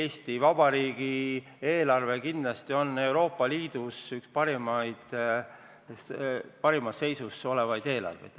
Eesti Vabariigi eelarve on Euroopa Liidus üks parimas seisus olevaid eelarveid.